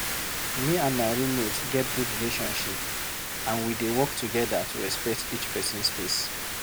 Me and my roommate get good relationship, and we dey work together to respect each pesin space.